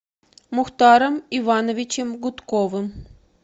мухтаром ивановичем гудковым